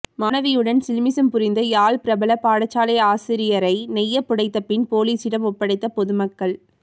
மாணவியுடன் சில்மிஷம் புரிந்த யாழ் பிரபல பாடசாலை ஆசிரியரை நையப்புடைத்த பின் பொலிஸிடம் ஒப்படைத்த பொதுமக்கள்